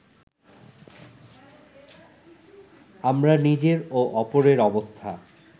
আমরা নিজের ও অপরের অবস্থা